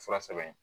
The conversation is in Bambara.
Fura sɛbɛn